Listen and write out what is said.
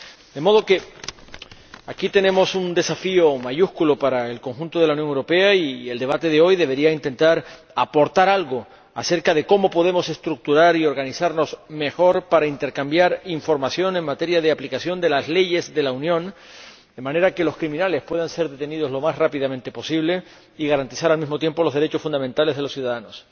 De modo que nos encontramos ante un desafío mayúsculo para el conjunto de la Unión Europea y el debate de hoy debería intentar aportar algo acerca de cómo podemos estructurar y organizarnos mejor para intercambiar información en materia de aplicación de las leyes de la Unión, de manera que los criminales puedan ser detenidos lo más rápidamente posible y garantizar, al mismo tiempo, los derechos fundamentales de los ciudadanos.